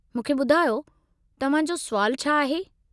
मूंखे ॿुधायो, तव्हां जो सुवालु छा आहे?